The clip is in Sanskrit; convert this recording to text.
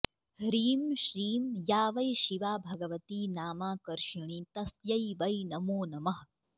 ह्रीं श्रीं या वै शिवा भगवती नामाकर्षिणी तस्यै वै नमो नमः